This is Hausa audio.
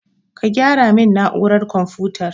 Ka gyara min na'urar konfutar